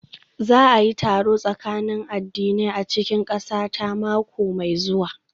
Za a yi taron tsakanin addinai a cikin ƙasata mako mai zuwa